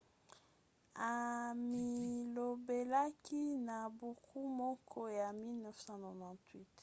amilobelaki na buku moko ya 1998